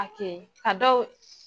Hakɛ a dɔw